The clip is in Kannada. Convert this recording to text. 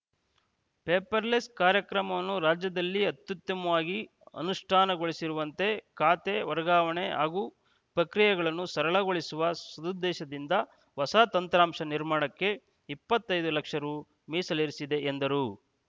ಪೇಪರ್‌ಲೆಸ್‌ ಕಾರ್ಯಕ್ರಮವನ್ನು ರಾಜ್ಯದಲ್ಲಿ ಅತ್ಯುತ್ತಮವಾಗಿ ಅನುಷ್ಠಾನಗೊಳಿಸಿರುವಂತೆ ಖಾತೆ ವರ್ಗಾವಣೆ ಹಾಗು ಪ್ರಕ್ರಿಯೆಗಳನ್ನು ಸರಳಗೊಳಿಸುವ ಸದುದ್ದೇಶದಿಂದ ಹೊಸ ತಂತ್ರಾಂಶ ನಿರ್ಮಾಣಕ್ಕೆ ಇಪ್ಪತ್ತೈ ದು ಲಕ್ಷ ರು ಮೀಸಲಿರಿಸಿದೆ ಎಂದರು